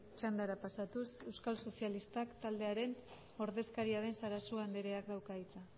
txandara pasatuz euskal sozialistak taldearen ordezkaria den sarasua andreak dauka hitza